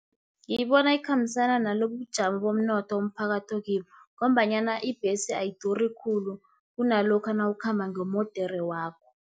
Ngiyibona ikhambisana nalobubujamo bomnotho umphakathi okibo, ngombanyana ibhesi ayiduri khulu, kunalokha nawukhamba ngemodere yakho.